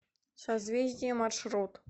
созвездие маршрут